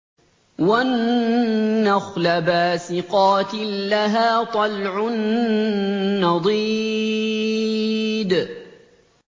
وَالنَّخْلَ بَاسِقَاتٍ لَّهَا طَلْعٌ نَّضِيدٌ